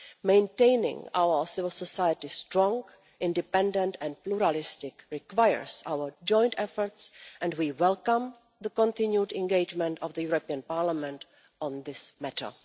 Maintaining our civil society strong, independent and pluralistic requires our joint efforts, and we welcome the continued engagement of the European Parliament on this matter.